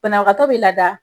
Banabagatɔ bɛ lada